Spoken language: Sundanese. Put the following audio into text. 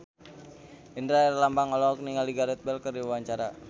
Indra Herlambang olohok ningali Gareth Bale keur diwawancara